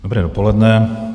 Dobré dopoledne.